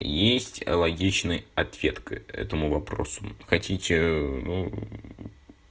есть логичный ответ к этому вопросу хотите